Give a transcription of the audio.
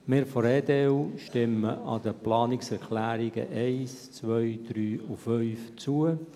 Wir von der EDU stimmen den Planungserklärungen 1, 2, 3 und 5 zu.